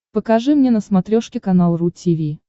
покажи мне на смотрешке канал ру ти ви